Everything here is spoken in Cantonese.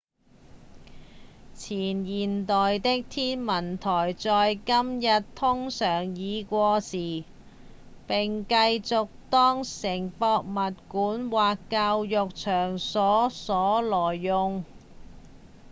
前現代的天文台在今日通常已過時並繼續當成博物館或教育場所來用